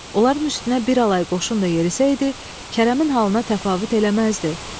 Onların üstünə bir alay qoşun da yerisəydi, Kərəmin halına təfavüt eləməzdi.